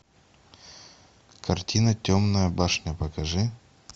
картина темная башня покажи